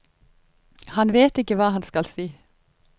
Han vet ikke hva han skal si.